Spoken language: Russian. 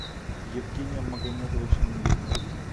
евгением магомедовичем михиным